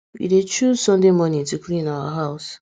we dey choose sunday morning to clean our house